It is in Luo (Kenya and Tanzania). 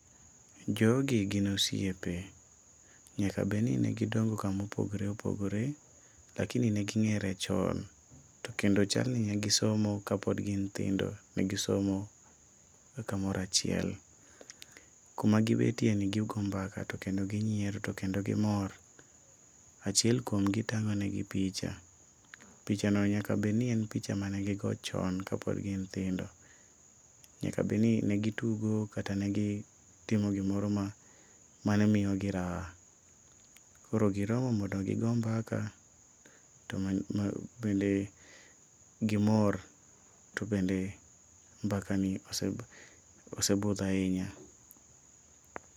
Jogi gin osiepe, nyaka beni negi dongo kamo pogre opogre lakini neging'ere chon, tokendo chalni negi somo kapod gin nyithindo negisomoga kamorachiel. Kuma gibetieni gigo mbaka to kendo gi nyiero to kendo gi mor. Achiel kuomgi tang'onegi picha. Picha no nyakabeni en picha mane gigo chon kapod gin nyithindo, nyakabeni negitugo kata negi timo gimoro mane miyogi raha, koro giromo mondo gigo mbaka bende gimor tobende mbakani osebudho ainya.